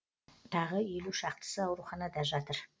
тағы елу шақтысы ауруханада жатыр